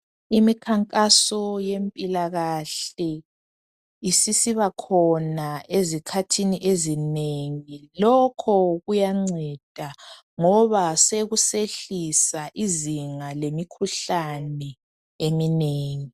Imikhankaso yempilakahle isisiba khona ezikhathini ezinengi. Lokho kuyanceda ngoba sekusehlisa izinga lemikhuhlane eminengi.